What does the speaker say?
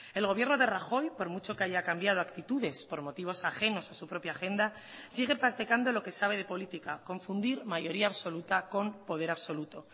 el gobierno de rajoy por mucho que haya cambiado actitudes por motivos ajenos a su propia agenda sigue practicando lo que sabe de política confundir mayoría absoluta con poder absoluto